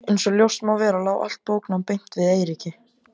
Einsog ljóst má vera lá allt bóknám beint við Eiríki.